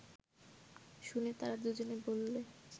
শুনে তারা দুজনে বললে